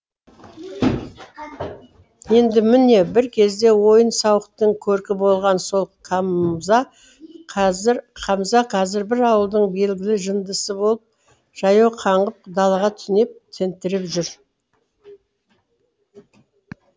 енді міне бір кезде ойын сауықтың көркі болған сол қазір қамза қазір бір ауылдың белгілі жындысы болып жаяу қаңғып далаға түнеп тентіреп жүр